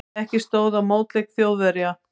Ekki stóð á mótleik Þjóðverja.